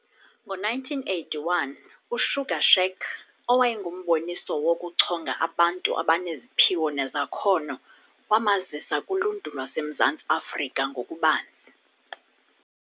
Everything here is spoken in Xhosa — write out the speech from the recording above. Ngo1981 "uSugar Shack", owayengumboniso wokuchonga abantu abaneziphiwo nezakhono, wamazisa kuluntu lwaseMzantsi Afrika ngokubanzi.